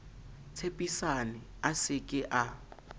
tshepisane a se ke a